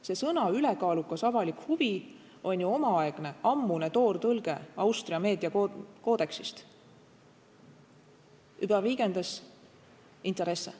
Termin "ülekaalukas avalik huvi" on ju omaaegne, ammune toortõlge Austria meediakoodeksist – überwiegendes Interesse.